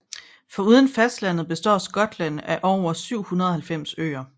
Foruden fastlandet består Skotland af over 790 øer